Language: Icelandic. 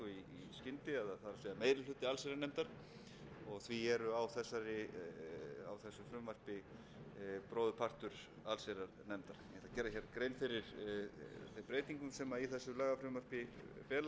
meiri hluti allsherjarnefndar því eru á þessu frumvarpi bróðurpartur allsherjarnefndar ég ætla að gera hér grein fyrir þeim breytingum sem í þessu lagafrumvarpi felast eins og